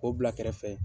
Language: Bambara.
K'o bila kɛrɛfɛ